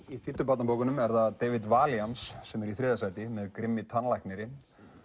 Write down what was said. í þýddu barnabókunum er David sem er í þriðja sæti með grimmi tannlæknirinn